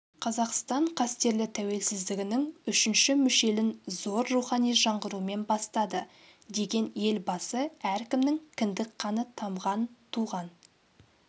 қазақстан қастерлі тәуелсіздігінің үшінші мүшелін зор рухани жаңғырумен бастады деген елбасы әркімнің кіндік қаны тамған туған